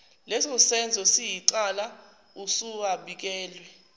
lesosenzo siyicala usuwabikele